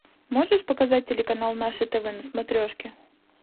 можешь показать телеканал наше тв на смотрешке